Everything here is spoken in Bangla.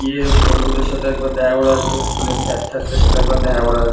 গিয়ে বন্ধুদের সাথে একবার দেখা করে আসবো। স্কুল - এর স্যার - ঠ্যারদের সাথে একবার দেখা করে আস --